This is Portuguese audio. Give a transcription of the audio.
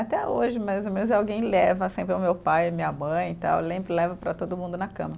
Até hoje, mais ou menos, alguém leva, sempre é o meu pai, minha mãe, tal, lembra e leva para todo mundo na cama.